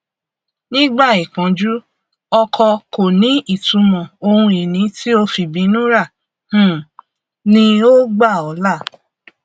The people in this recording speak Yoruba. nígbà ìpọnjú ọkọ kò ní ìtumọ ohun ìní tí o fìbínú rà um ni ó gbà ọ là